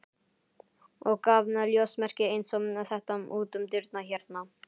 og gaf ljósmerki eins og þetta út um dyrnar hérna.